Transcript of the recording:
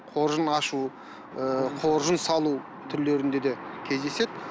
қоржын ашу ы қоржын салу түрлерінде де кездеседі